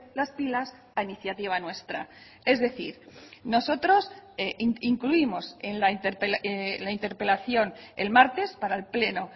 las pilas a iniciativa nuestra es decir nosotros incluimos en la interpelación el martes para el pleno